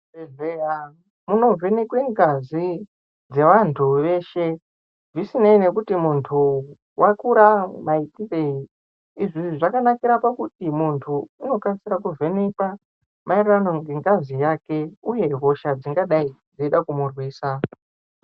Muzvibhedhlera muno vhenekwa ngazi dzevantu veshe zvisinei nekuti muntu wakura maitirei izvi zvakanakira pakuti muntu unokasira kuvhenekwa maererano ngengazi yake uye hosha dzingadai dzeida kumurwisa.